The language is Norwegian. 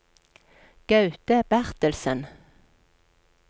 Gaute Bertelsen